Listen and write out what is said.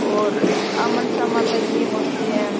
और आ मनसा माता की मूर्ती है।